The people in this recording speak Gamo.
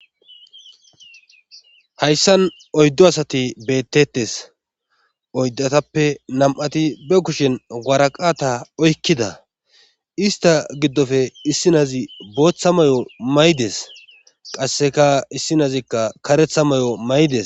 Hayssan oyddo asati bettetes oyddatappe nam'ati be kushen waraqata oykkida ista giddofe issinazi booththa may'o maydes qasseka issinazikka karetha may'o maydes.